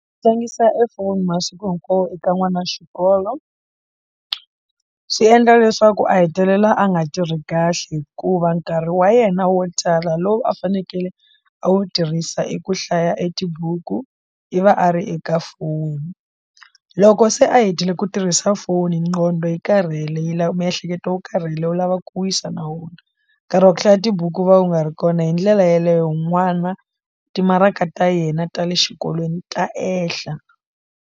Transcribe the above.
Tlangisa e foni masiku hinkwawo eka n'wana wa xikolo swi endla leswaku a hetelela a nga tirhi kahle hikuva nkarhi wa yena wo tala lowu a fanekele a wu tirhisa i ku hlaya e tibuku i va a ri eka foni loko se a hetile ku tirhisa foni nqhondo yi karhele yi lava miehleketo wu karhele u lavaku ku wisa na wona nkarhi wa ku hlaya tibuku u va u nga ri kona hi ndlela yeleyo n'wana timaraka ta yena ta le xikolweni ta ehla.